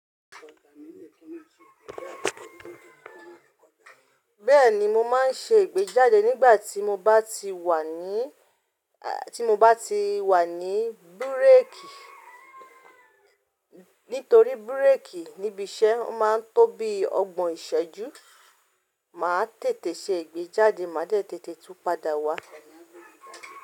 Bẹ́ẹ̀ni mo máa ń ṣe ìgbéjáde nígbà tí mo bá ti wà ní, tí mo bá ti wà ní búrékì. Nítorí búrékì níbi iṣẹ́ ó máa ń tó bí ọgbọ̀n ìṣẹ́jú. Máa tètè ṣe ìgbéjáde máa dẹ tètè tún padà wá.